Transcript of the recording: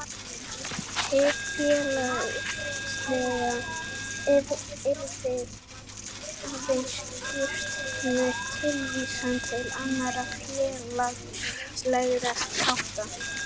Hið félagslega yrði aðeins skýrt með tilvísan til annarra félagslegra þátta.